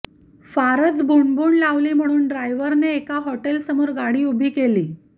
फारच भुणभुण लावली म्हणून ड्रायव्हरने एका हॉटेलसमोर गाडी उभी केली